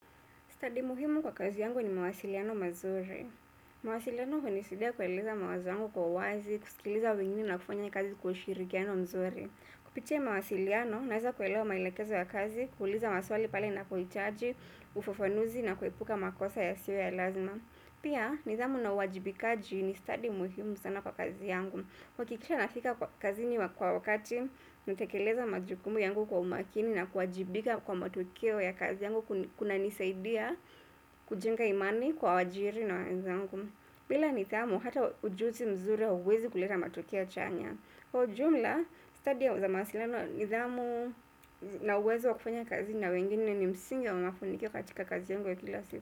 Study muhimu kwa kazi yangu ni mawasiliano mazuri. Mawasiliano hunisaidia kueleza mawazo yangu kwa uwazi, kusikiliza wengine na kufanya kazi kwa ushirikiano mzuri. Kupitia mawasiliano, naeza kuelewa maelekezo ya kazi, kuuliza maswali pale napohitaji, ufafanuzi na kuepuka makosa yasiwe ya lazima. Pia, nidhamu na uwajibikaji ni stadi muhimu sana kwa kazi yangu. Kuhakikisha nafika kwa kazini kwa wakati natekeleza majukumu yangu kwa umakini na kuwajibika kwa matukio ya kazi yangu kunanisaidia kujenga imani kwa waajiri na wenzangu bila nidhamu, hata ujuzi mzuri hauwezi kuleta matokea chanya kwa ujumla, study ya za mawasilano, nidhamu na uwezo wa kufanya kazi na wengine ni msingi wa mafanikio katika kazi yangu ya kila siku.